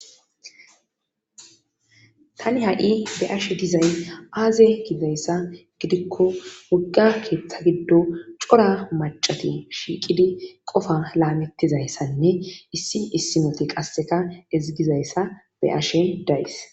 tani ha7i be7ashe dizay aaze gizayssa gidikko wogga keetta giddon cora maccati shiiqidi qofaa laametizayssanne issi issi wode qasseka ezggizayssa be7ashe days.